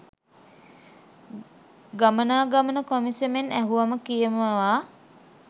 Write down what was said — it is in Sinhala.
ගමනාගමන කොමිෂමෙන් ඇහුවම කියමවා.